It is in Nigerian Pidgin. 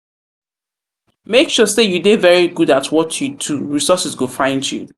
make sure say you de very good at what you do resources go find you